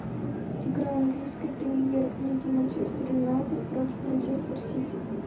игра английской премьер лиги манчестер юнайтед против манчестер сити